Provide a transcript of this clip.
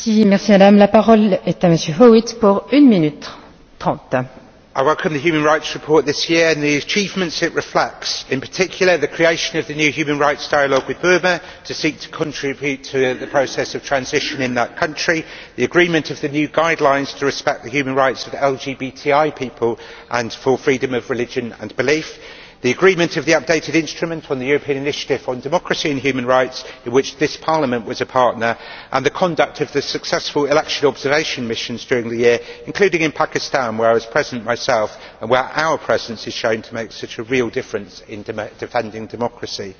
Madam President, I worked on the human rights report this year and the achievements it reflects, in particular the creation of the new human rights dialogue with Burma to seek to contribute to the process of transition in that country, the agreement of new guidelines to respect the human rights of LGBTI people and for freedom of religion and belief, the agreement of the updated instrument on the European Initiative for Democracy and Human Rights in which this Parliament was a partner, and the conduct of successful election observation missions during the year, including in Pakistan where I was present myself and where our presence is proving to make such a real difference in defending democracy.